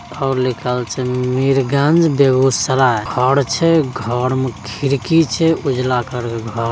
और लिखल छै मीरगंज बेगुसराय घर छै घर में खिड़की छै उजला कलर के घर --